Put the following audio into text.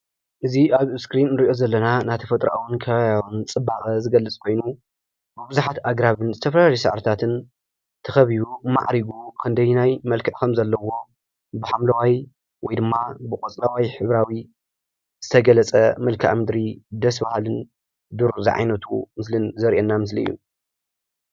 እዚ ኣብ እስክሪን እንርእዮ ዘለና ናይ ተፈጥራውን ከባቢያውን ፅባቐ ዝገልፅ ኮይኑ ፤ብቡዝሓት ኣግራብን ዝተፈላለዩ ሳዕርታትን ተኸቢቡ ማዕሪጉ ክንደየናይ መልክዕ ኸም ዘለዎ ብሓምለዋይ ወይድማ ብቆፅለዋይ ሕብራዊ ዝተገለፀ መልከዓ ምድሪን ደስ ባሃልን ዱር ዝዓይነቱ ምስልን ዘርእየና ምስሊ እዩ።